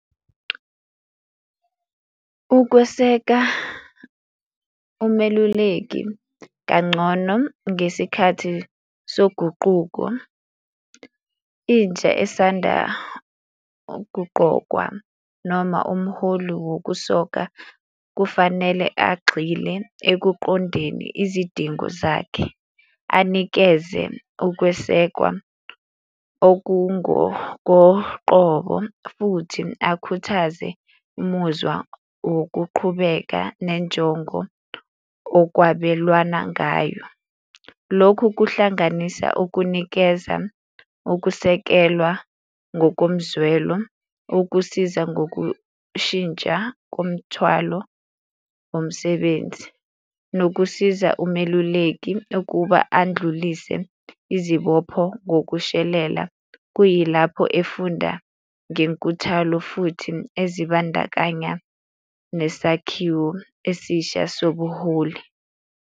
Ukweseka umeluleki kancono ngesikhathi soguquko, intsha esanda ukuqokwa noma umholi wokusoka kufanele agxile ekuqondeni izidingo zakhe, anikeze ukwesekwa okungokoqobo futhi akhuthaze umuzwa wokuqhubeka nenjongo okwabelwana ngayo. Lokhu kuhlanganisa ukunikezwa, ukusekelwa ngokomzwelo, ukusiza ngokushintsha komthwalo womsebenzi, nokusiza umeluleki ukuba andlulise izibopho ngokushelela, kuyilapho efunda ngenkuthalo futhi ezibandakanya nesakhiwo esisha sobuholi.